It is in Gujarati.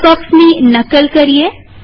આ બોક્સની નકલ કરીએ